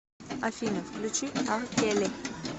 афина включи ар келли